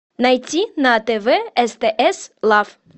найти на тв стс лав